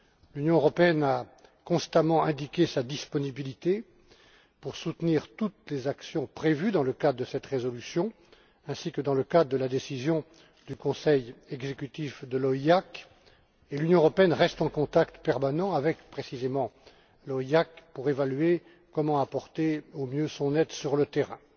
L'Union européenne a constamment indiqué sa disponibilité pour soutenir toutes les actions prévues dans le cadre de cette résolution ainsi que dans le cadre de la décision du conseil exécutif de l'OIAC et elle reste en contact permanent avec, précisément, l'OIAC pour évaluer comment apporter au mieux son aide sur le terrain.